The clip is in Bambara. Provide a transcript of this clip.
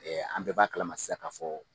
Ɛɛ an bɛɛ b'a kalama sisan k'a fɔ